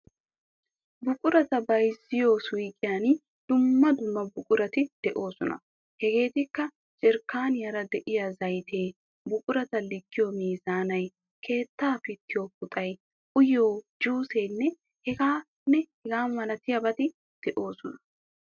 Buqurata bayzziyoo suyqiyan dumma dumma buqurati de'oosona. Hegeetikka jerkkaaniyaara de"iyaa zaytee, buqurata likkiyoo meezaanay, keettaa pittiyoo puxay, uyiyo juuseenne hegaa malatiyaabati de'oosona.